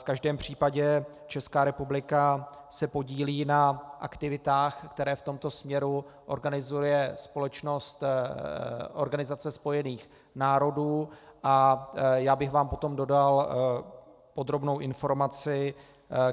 V každém případě Česká republika se podílí na aktivitách, které v tomto směru organizuje společnost, Organizace spojených národů, a já bych vám potom dodal podrobnou informaci,